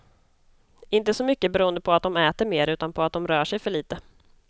Inte så mycket beroende på att de äter mer, utan på att de rör sig för lite.